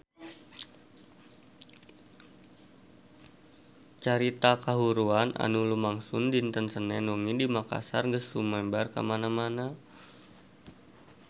Carita kahuruan anu lumangsung dinten Senen wengi di Makassar geus sumebar kamana-mana